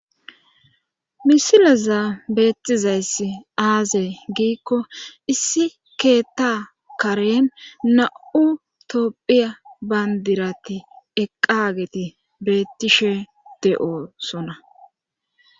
Misilaza beettizayss aazey giikko issi keetta karen na7u toophiya bandirati eqqageti beettishe de7o sonna